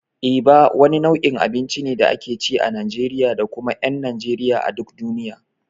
Eba wani nau'in abinci ne da ake ci a Najeriya da kuma ƴan Najeriya a duk duniya.